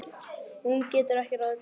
Hún getur ekki ráðið því.